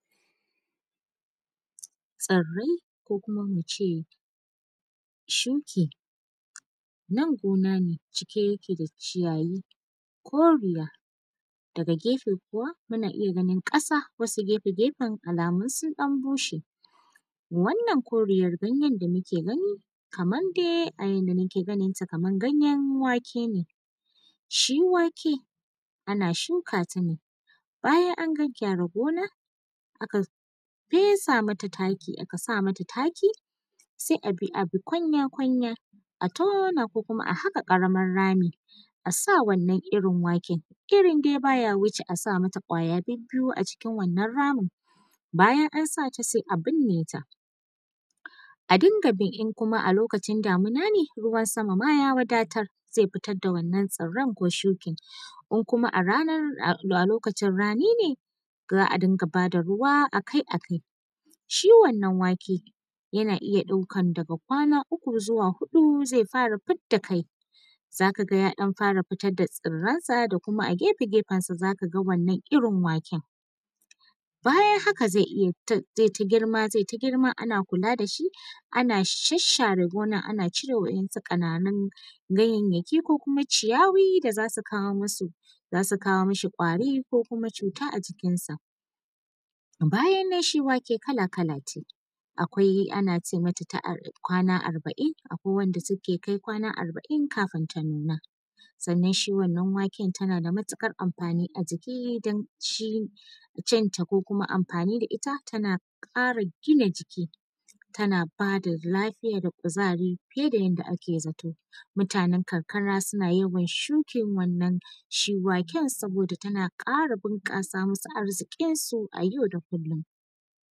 Tsirai ko kuma muce shuki, nan gona ne shike yake da ciyayi koriya daga gefe kuwa muna iya ganin kasa wani gefe-gefen alamu sun dan bushe, wannan koriya ganyan da muke gani kamar dai a yadda muke ganin ta kamar ganyar wake ne shi wake ana shuka ta ne bayan an gyagyara gonar aka fesa mata taki aka sa mata taki sai abi gunya-gunya a tona ko kuma a haka karamin rami asa wannan irin waken irin dai baya wuce asa mata gwaya bibbiyu a cikin wannan ramin bayan an sata sai a burne ta a dunga bi in kuma a lokacin damuna ne ruwan sama ma ya wadatar zai fitar da wannan tsiran ko shukan in kuma a lokacin rani ne za a dunka bada ruwa akai-akai shi wannan waken yana iya ɗaukan daga kwana uku zuwa huɗu zai fara fidda kai zaka gay a fara fitar da tsiransa da kuma a gefe-gefen sa zaka ga wannan irin waken, bayan haka zai ta girma zai ta girma ana kula da shi ana sharshare gonar ana cire wasu kana nun ganyayyaki ko kuma ciyawa da zasu kawo mu mishi kwari ko cuta a cikin sa, bayan nan shi wake kala-kala ne akwai n ace mata kwana arbain akwai wanda suke kai kwana arbain kafin ta nuna sannan shi wannan waken tana da matukar amfani a jiki don cinta ko kuma amfani da ita, tana kara gina jiki tana bada lafiya da kuzari fiye da yadda ake zato mutanan karkara suna yawan shukin wannan shi waken saboda tana kara bunkasa musu arzikin su a yau da kullum.